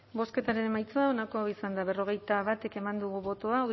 bozketaren emaitza onako izan da berrogeita bat eman dugu bozka